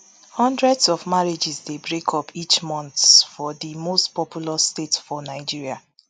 hundreds of marriages dey break up each month for di most populous state for nigeria